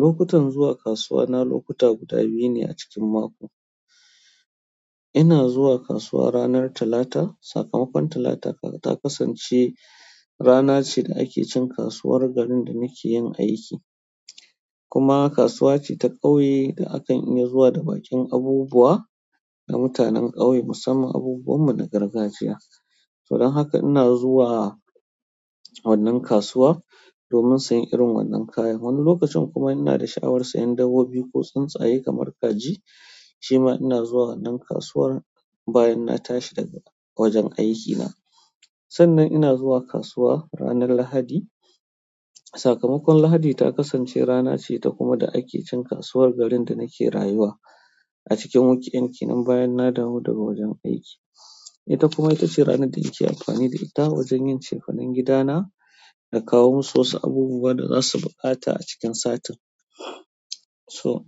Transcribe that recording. Lokutan zuwa kasuwa na lokuta guda biyu ne a cikin mako. Ina zuwa kasuwa ranar Talata. Sakamakon Talata ta kasance rana ce da ake cin kasuwar garin da nake yin aiki, kuma kasuwa ce ta ƙauye da akan iya zuwa da baƙin abubuwa na mutanen ƙauye musamman abubuwan mu na gargajiya. Don haka ina zuwa wannan kasuwa, domin sayan irin wannan kayan. Wani lokacin kuma ina da shawarar sayan dabbobi ko tsintsaye kamar kaji, shima ina zuwa wannan kasuwar bayan na tashi daga wajen aikina. Sannan ina zuwa kasuwa ranar Lahadi. Sakamakon Lahadi ta kasance rana ce ta kuma da ake cin kasuwar garin da nake rayuwa a cikin weekend kenan bayan na dawo daga wajen aiki. Ita kuma ita ce rana da nake amfani da ita wajen yin cefanen gidana da kawo musu wasu abubuwa da zasu buƙata a cikin satin. To,